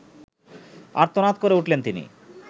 আর্তনাদ করে উঠলেন তিনি